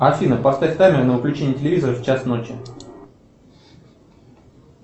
афина поставь таймер на выключение телевизора в час ночи